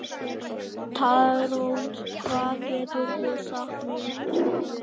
Tarón, hvað geturðu sagt mér um veðrið?